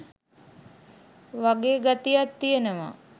වගේ ගතියක් තියෙනවා.